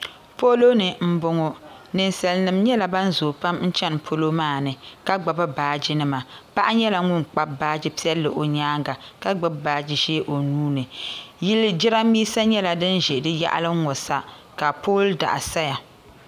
Polo ni n bɔŋo ninsali nima nyɛla ban zoo pam n chani polo maa ni ka gbubi baaji nima paɣa nyɛla ŋun kpabi baaji piɛlli o nyaanga ka gbubi baaji ʒee o nuu ni yili jiranbiisa nyɛla din ʒɛ di yaɣali n ŋɔ sa ka pooli daɣu saya.